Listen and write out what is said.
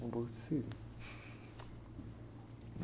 Com boca de siri.